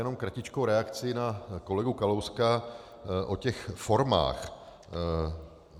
Jenom kratičkou reakci na kolegu Kalouska o těch formách.